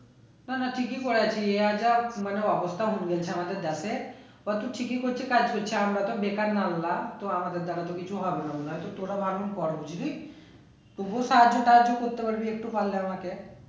না না ঠিকই করেছি আর যা মানে অবস্থা হয়েছে আমাদের যাতে কত cheating করছে কাজ করছে আমরা তো বেকার মামলা আমাদের দ্বারা তো কিছু হবেও না তো তোরা ভালো কর বুঝলি তবুও সাহায্য তাহাযো করতে পারবি একটু পারলে আমাকে